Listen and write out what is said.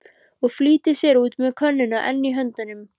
Og flýtir sér út með könnuna enn í höndunum.